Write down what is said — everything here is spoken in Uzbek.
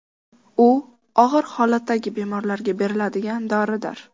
U og‘ir holatdagi bemorlarga beriladigan doridir.